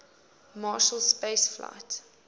marshall space flight